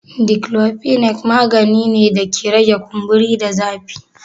Diklofinak magani ne da ke rage kumburi da zafi.